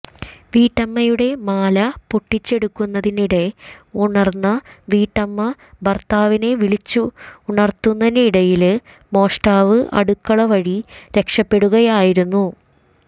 വീട്ടമ്മയുടെ മാല പൊട്ടിച്ചെടുക്കുന്നതിനിടെ ഉണര്ന്ന വീട്ടമ്മ ഭര്ത്താവിനെ വിളിച്ചുണര്ത്തുന്നതിനിടയില് മോഷ്ടാവ് അടുക്കള വഴി രക്ഷപ്പെട്ടുകയായിരുന്നു